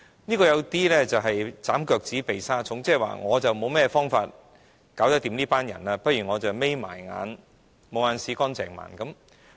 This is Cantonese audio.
這有點"斬腳趾避沙蟲"，即我沒有方法應付這些人，倒不如閉上眼睛"無眼屎乾淨盲"。